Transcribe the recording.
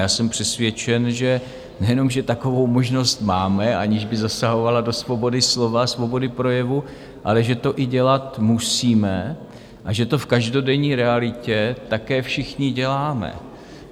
Já jsem přesvědčen, že nejenom že takovou možnost máme, aniž by zasahovala do svobody slova, svobody projevu, ale že to i dělat musíme a že to v každodenní realitě také všichni děláme.